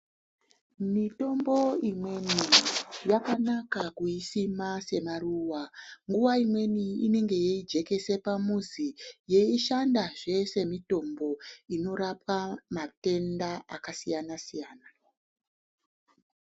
Mitombo imweni yakanaka kuyisima semaruwa. Nguwa imweni inenge yeyijekesa pamuzi, yeyishandazve semitombo inorapa matenda akasiyana-siyana.